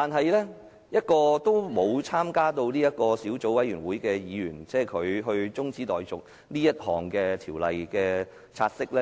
然而，由一個沒有參與小組委員會的議員動議中止"察悉議案"的辯論，